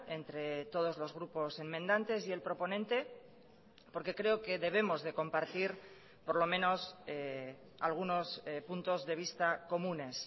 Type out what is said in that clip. entre todos los grupos enmendantes y el proponente porque creo que debemos de compartir por lo menos algunos puntos de vista comunes